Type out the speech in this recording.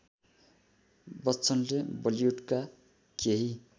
बच्चनले बलिउडका केही